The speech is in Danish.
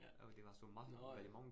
Ja. Nåh ja